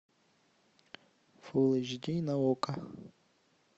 фулл эйч ди на окко